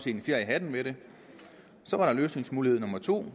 en fjer i hatten ved det så var der løsningsmulighed nummer to